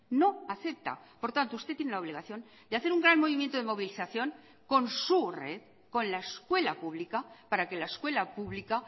no acepta por tanto usted tiene la obligación de hacer un gran movimiento de movilización con su red con la escuela pública para que la escuela pública